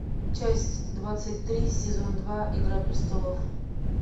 часть двадцать три сезон два игра престолов